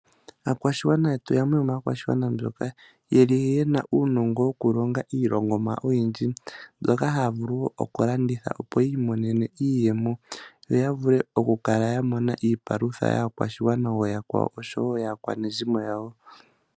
Aakwashigwana yetu oyamwe yomaakwashigwana mboka yeli yena uunongo woku longa iilongomwa oyindji, mbyoka haya vulu oku landitha opow yiimonene iiyemo, yo ya vule oku kala ya mona iipalutha yaakwashigwana ooyakwawo oshowo yaakwanezimo yawo.